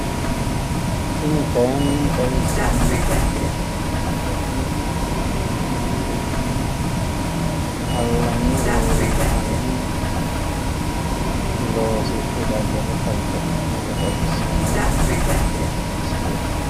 Tini kayinni xawisanohu Ethiopiyu Tellecome halanyu fiqaadini affidhe daddaluni uurrite nootta xawisano